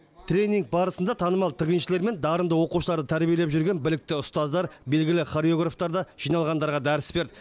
тренинг барысында танымал тігіншілер мен дарынды оқушыларды тәрбиелеп жүрген білікті ұстаздар белгілі хореографтар да жиналғандарға дәріс берді